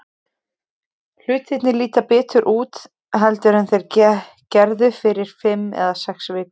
Hlutirnir líta betur út heldur en þeir gerðu fyrir fimm eða sex vikum.